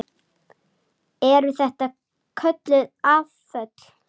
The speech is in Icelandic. Eru þetta kölluð afföll.